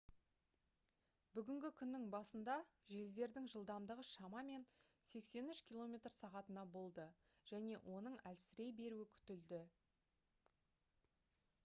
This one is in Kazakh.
бүгінгі күннің басында желдердің жылдамдығы шамамен 83 км/сағ болды және оның әлсірей беруі күтілді